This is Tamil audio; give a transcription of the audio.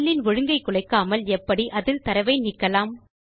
செல் இன் ஒழுங்கை குலைக்காமல் எப்படி அதில் தரவை நீக்கலாம்